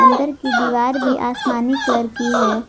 अंदर की दीवार भी आसमानी कलर की है।